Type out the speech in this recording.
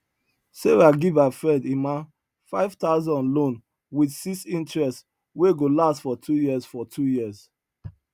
sarah give her friend emma 5000 loan with 6 interest wey go last for two years for two years